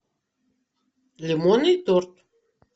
лимонный торт